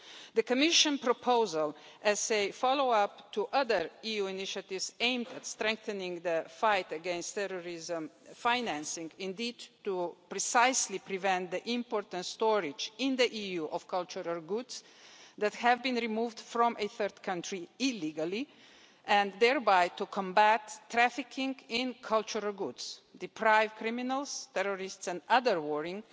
The Commission proposal is a follow-up to other EU initiatives aimed at strengthening the fight against terrorism financing, indeed precisely to prevent the import and storage in the EU of cultural goods that have been removed from a third country illegally and thereby combat trafficking in cultural goods, deprive criminals, terrorists and other warring